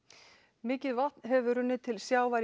mikið vatn hefur runnið til sjávar í